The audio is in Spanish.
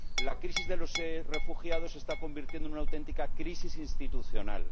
La crisis de los refugiados se está convirtiendo en una auténtica crisis institucional.